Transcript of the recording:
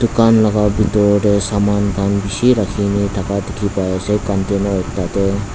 kan laga bitor tey saman khan bishi rakhina thaka dikhi pai ase container tatey.